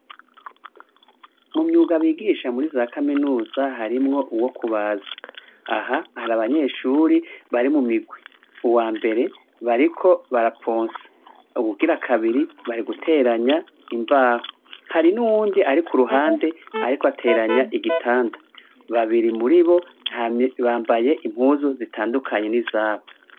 Mumyuga bigisha muriza kaminuza harimwo uwo kubaza aha hari abanyeshure bari mumirwi uwambere bariko baraponsa uwugira kabiri bari guteranya imbaho hari nuwundi ari kuruhande ariko ateranya igitanda babiri muribo bambaye impuzu zitandukanye nizaho